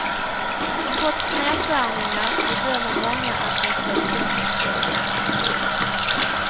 Trots nedskärningar bedömer många att de fått bättre service.